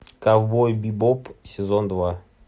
ковбой бибоп сезон два